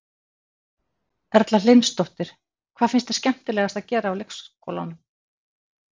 Erla Hlynsdóttir: Hvað finnst þér skemmtilegast að gera á leikskólanum?